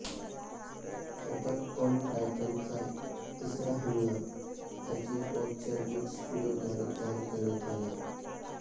attack on टायटनचा तिसरा हंगाम आयजी पोर्टच्या विट स्टुडिओद्वारे तयार करण्यात आला